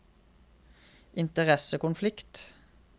interessekonflikt